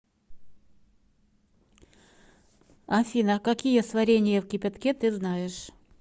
афина какие сварение в кипятке ты знаешь